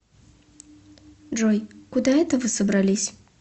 джой куда это вы собрались